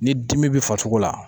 Ni dimi be farisogo la